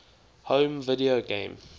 home video game